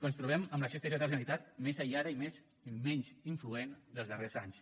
ens trobem amb l’acció exterior de la generalitat més aïllada i menys influent dels darrers anys